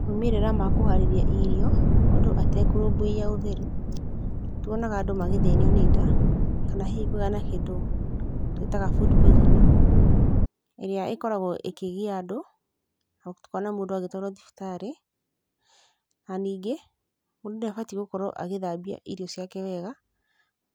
Moimĩrĩra ma kũharĩria irio mũndũ atekũrũmbũiya ũtheru, nĩ tuonaga mũndũ magĩthĩnio nĩ nda kana hihi kĩndũ tũĩtaga food poisoning ĩrĩa ĩkoragwo ĩkĩgia andũ, na tũkona mũndũ agĩtwarwo thibitarĩ. Na ningĩ, mũndũ nĩ abatiĩ gũkorwo agĩthambia irio ciake wega,